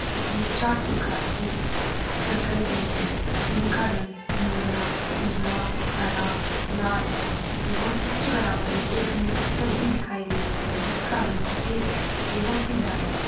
इसमें चार प्रकाल के सर्कल भी है जिनका रंग नीला पीला हरा लाल है एवं इसके बराबर में एक हमे बत्तख भी दिखाई दे रही है जिसका रंग सफेद है एवं पीला है।